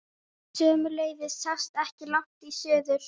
Sömuleiðis sást ekki langt í suður.